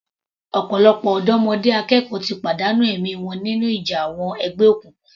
Ọ̀pọ̀lọpọ̀ ọ̀dọ́mọdé akẹ́kọ̀ọ́ ti pàdánù ẹ̀mí wọn nínú ìjà àwọn ẹgbẹ́ òkùnkùn.